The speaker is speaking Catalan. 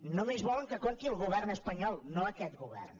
només volen que compti el govern espanyol no aquest govern